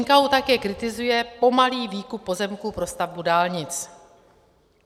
NKÚ také kritizuje pomalý výkup pozemků pro stavbu dálnic.